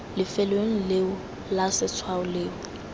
lefelong leo fa letshwao leo